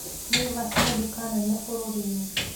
Naivas nĩ duka nene bũrũri-inĩ.